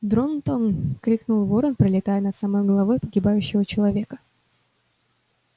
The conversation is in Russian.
дрон-тон крикнул ворон пролетая над самой головой погибающего человека